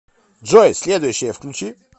джой следующее включи